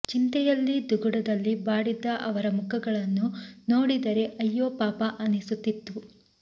ಚಿಂತೆಯಲ್ಲಿ ದುಗುಡದಲ್ಲಿ ಬಾಡಿದ್ದ ಅವರ ಮುಖಗಳನ್ನು ನೋಡಿದರೆ ಅಯ್ಯೋ ಪಾಪ ಅನಿಸುತ್ತಿತ್ತು